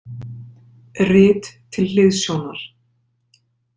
Rit til hliðsjónar